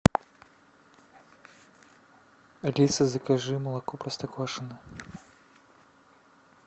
алиса закажи молоко простоквашино